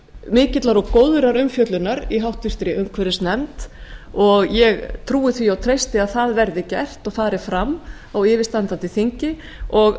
mikillar og góðrar umfjöllunar í háttvirtri umhverfisnefnd og ég trúi því og treysti að það verði gert og fari fram á yfirstandandi þingi og